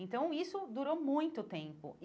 Então, isso durou muito tempo.